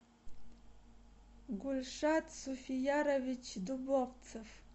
гульшат суфиярович дубовцев